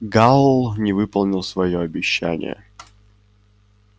гаал не выполнил своё обещание